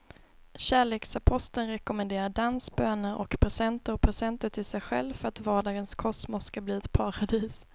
Kärleksaposteln rekommenderar dans, böner och presenter och presenter till sig själv för att vardagens kosmos ska bli ett paradis.